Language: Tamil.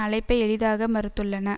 அழைப்பை எளிதாக மறுத்துள்ளன